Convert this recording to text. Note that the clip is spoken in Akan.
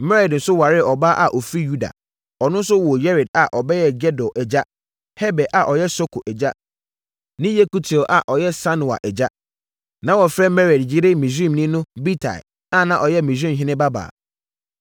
Mered nso waree ɔbaa a ɔfiri Yuda. Ɔno nso woo Yered a ɔbɛyɛɛ Gedor agya, Heber a ɔyɛ Soko agya, ne Yekutiel a ɔyɛ Sanoa agya. Na wɔfrɛ Mered yere Misraimni no Bitia a na ɔyɛ Misraimhene babaa.